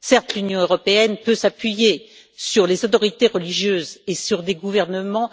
Certes, l'Union européenne peut s'appuyer sur les autorités religieuses et sur des gouvernements